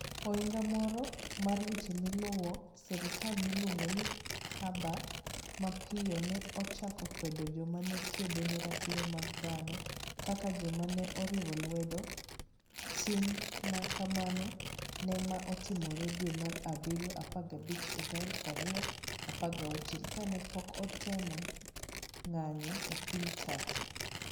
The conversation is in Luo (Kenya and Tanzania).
Ohinga moro mar weche maluwo sirkal miluongo ni Ahaber mapiyo ne ochako kwedo joma ne kedo ne ratiro mag dhano kaka "joma ne oriwo lwedo" tim ma kamano ma ne otimore dwe mar abirio 15, 2016, kane pok otem ng'anjo e piny Turkey: